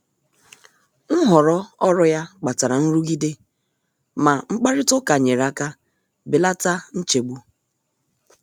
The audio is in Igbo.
Nhọrọ ọrụ ya kpatara nrụgide, ma mkparịta ụka nyere aka belata nchegbu.